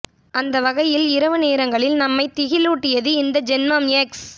அந்த வகையில் இரவு நேரங்களில் நம்மை திகிலுட்டியது இந்த ஜென்மம் எக்ஸ்